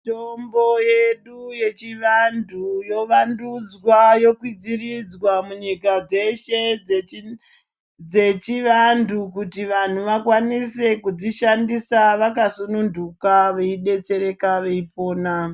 Mitombo yedu yechivantu yovandudzwa, yokwidziridzwa munyika dzeshe dzechivantu kuti vanhu vakwanise kudzishandisa vakasununguka veidetsereka veipona.